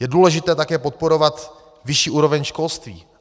Je důležité také podporovat vyšší úroveň školství.